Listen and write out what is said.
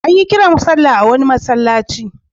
An yi kiran sallah a wani masallaci.